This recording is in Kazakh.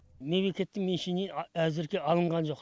мемлекеттің меншігінен әзірге алынған жоқ